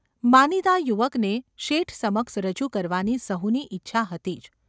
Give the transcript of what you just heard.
માનીતા યુવકને શેઠ સમક્ષ રજૂ કરવાની સહુની ઇચ્છા હતી જ.